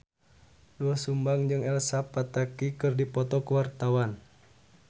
Doel Sumbang jeung Elsa Pataky keur dipoto ku wartawan